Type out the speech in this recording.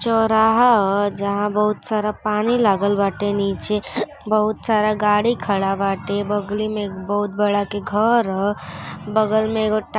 चौराहा ह जहां बहुत सारा पानी लागल बाटें। नीचे बहुत सारा गाड़ी खड़ा बाटे बगली में एक बहुत बड़ा के घर ह बगल में एगो टा--